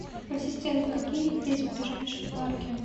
ассистент какие здесь ближайшие парки